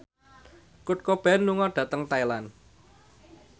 Kurt Cobain lunga dhateng Thailand